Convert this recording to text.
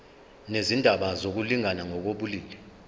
nezindaba zokulingana ngokobulili